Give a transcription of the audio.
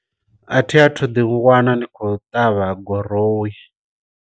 A thi a thu ḓi wana ndi khou ṱavha guroyi.